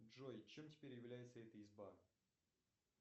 джой чем теперь является эта изба